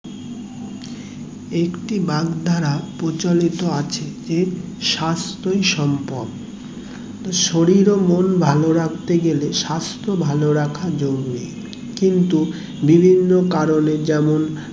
একটি ব্যাগ ধারা প্রচলিত আছে যে স্বাস্থ্যই সম্পদ শরীর ও মন ভালো রাখতে গেলে সাস্থ ভালো রাখা জরুরি কিন্তু বিভিন্ন কারণে যেমন